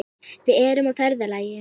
Við erum á ferðalagi.